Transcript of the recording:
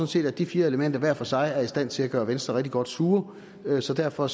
set at de fire elementer hver for sig er i stand til at gøre venstre rigtig godt sure så derfor